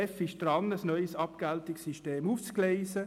Die GEF ist daran, ein neues Abgeltungssystem aufzugleisen.